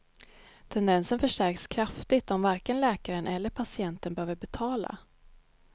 Tendensen förstärks kraftigt om varken läkaren eller patienten behöver betala.